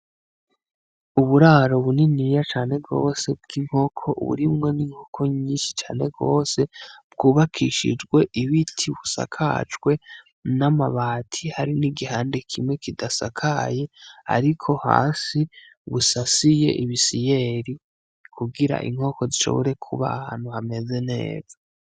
Uburaro buniniya cane gosi bw'inkoko, burimwo n'inkoko nyinshi cane gose bwubakishijwe ibiti busakajwe n'amabati hari n'igihande kimwe kidasakaye ariko hasi busasiye ibisiyeri kugira inkoko zishobore kuba ahantu hameze neza.